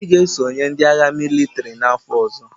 Obi ga-esonye ndị agha mịlịtrị n’afọ ọzọ.